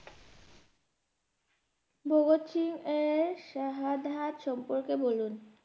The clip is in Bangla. ভগৎ সিং এর sahadat সম্পর্কে বলুন?